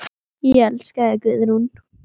Ég elska þig, Guðrún.